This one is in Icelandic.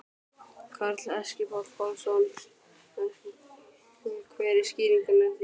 Karl Eskil Pálsson: Hver er skýringin á því?